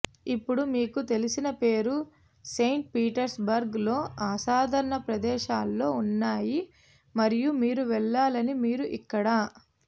ఇప్పుడు మీకు తెలిసిన పేరు సెయింట్ పీటర్స్బర్గ్ లో అసాధారణ ప్రదేశాలలో ఉన్నాయి మరియు మీరు వెళ్లాలని మీరు ఇక్కడ